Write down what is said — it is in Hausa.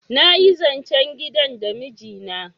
nayi zancen gidan da miji na